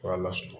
K'a lasunɔgɔ